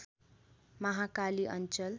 महाकाली अञ्चल